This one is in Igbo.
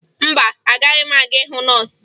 Mba, agaghị m aga hụ nọọsụ